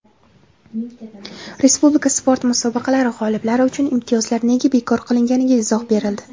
Respublika sport musobaqalari g‘oliblari uchun imtiyozlar nega bekor qilinganiga izoh berildi.